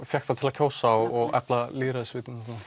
fékk það til að kjósa og efla lýðræðisvitundina